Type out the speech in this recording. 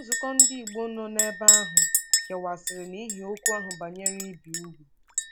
Nzukọ ndị Igbo nọ n’ebe ahụ kewasịrị n’ihi okwu ahụ banyere ibi úgwù.